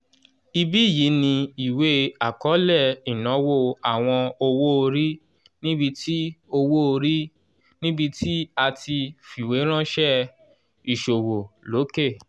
ibí yìí ni ìwé akọọlẹ ìnáwó àwọn owó-orí níbí tí owó-orí níbí tí a ti fiweranṣẹ iṣowo loke